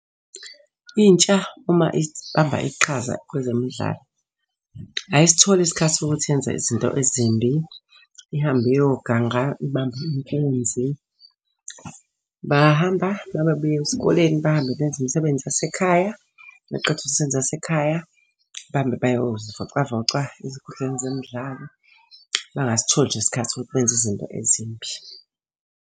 Intsha uma ibamba iqhaza kwezemidlalo, ayisitholi isikhathi sokuthi yenze izinto ezimbi. Ihambe iyoganga ibambe inkunzi. Bahamba uma bebuya esikoleni bahambe benze imsebenzi yasekhaya. Beqede imisebenzi yasekhaya, bahambe beyozivocavoca ezinkundleni zemidlalo. Bangasitholi nje isikhathi sokuthi benze izinto ezimbi.